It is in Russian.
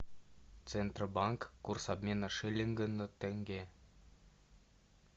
центробанк курс обмена шиллинга на тенге